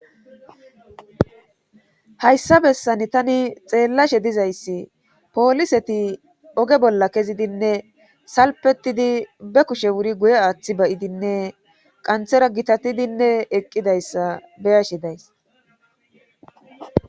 Hayssa bessani tani xeellashe dizayssi pooliseti oge bolla kezidinne salpetidi be kushe wuri guye aaththi bayidinne qanthera gitatidinne eqqidayssa beya she days.